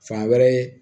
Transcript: Fan wɛrɛ